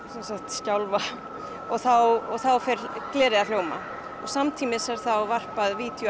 skjálfa og þá fer glerið að hljóma samtímis er varpað